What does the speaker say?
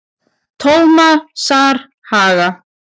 Tómasarhaga